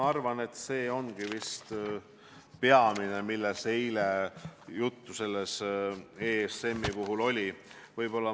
See ongi vist peamine, millest eile ESM-i puhul juttu oli.